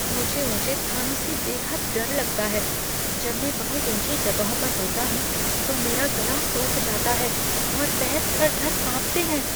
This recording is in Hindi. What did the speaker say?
मुझे ऊँचे स्थानों से बेहद डर लगता है। जब मैं बहुत ऊँची जगहों पर होता हूँ तो मेरा गला सूख जाता है और पैर थर थर कांपते हैं।